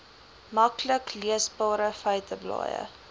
maklik leesbare feiteblaaie